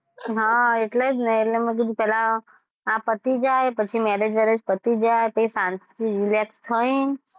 હા એટલે જ ને એટલે મેં કીધું પહેલાં આ પતિ જાય પછી marriage બેરેજ પતિ જાય પછી શાંતિથી relax થયીને,